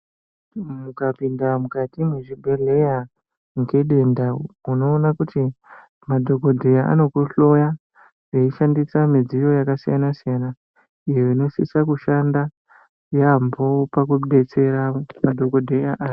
Mukapinda mukati mezvibhedhleya ngedenda unoona kuti madhogobheya anokuhloya eishandisa midziyo yakasiyana-siyana, iyo inosisa kushanda yaambo pakubetsera madhogobheya aya.